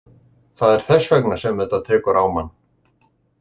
Það er þess vegna sem þetta tekur á mann.